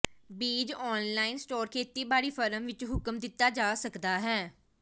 ਬੀਜ online store ਖੇਤੀਬਾੜੀ firm ਵਿਚ ਹੁਕਮ ਦਿੱਤਾ ਜਾ ਸਕਦਾ ਹੈ